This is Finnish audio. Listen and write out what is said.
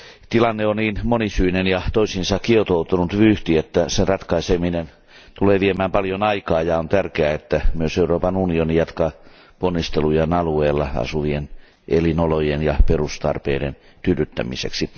Tilanne on niin monisyinen ja toisiinsa kietoutunut vyyhti, että sen ratkaiseminen tulee viemään paljon aikaa, ja on tärkeää, että myös Euroopan unioni jatkaa ponnistelujaan alueella asuvien elinolojen ja perustarpeiden tyydyttämiseksi.